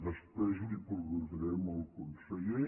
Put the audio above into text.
després li ho preguntaré al conseller